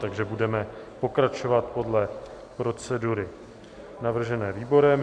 Takže budeme pokračovat podle procedury navržené výborem.